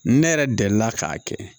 Ne yɛrɛ delila k'a kɛ